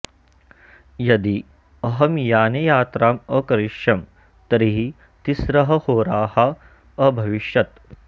यदि अहं याने यात्राम् अकरिष्यं तर्हि तिस्रः होराः अभविष्यत्